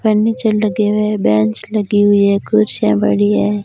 Furniture लगे हुए bench लगी हुई हैं कुर्सियां बड़ी है।